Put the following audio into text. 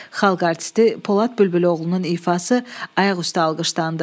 Xalq artisti Polad Bülbüloğlunun ifası ayaqüstə alqışlandı.